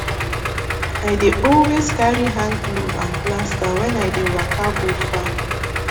i dey always carry hand glove and plaster when i dey waka go farm